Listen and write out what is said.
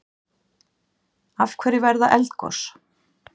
Af hverju verða eldgos?